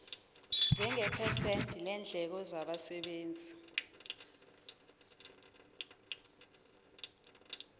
njengephesenti leendleko zabasebenzi